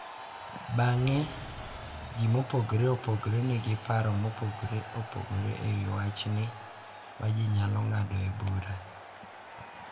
Bang’e, ji mopogore opogore nigi paro mopogore opogore ewi wachni ma ji nyalo ng’adoe bura.